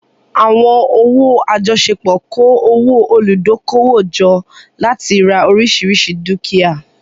Àwọn owó àjọṣepọ̀ kó owó olùdókòwò jọ láti ra oríṣiríṣi dúkìá.